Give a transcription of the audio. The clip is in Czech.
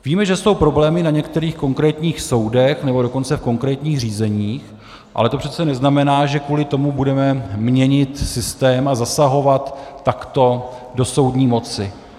Víme, že jsou problémy na některých konkrétních soudech, nebo dokonce v konkrétních řízeních, ale to přece neznamená, že kvůli tomu budeme měnit systém a zasahovat takto do soudní moci.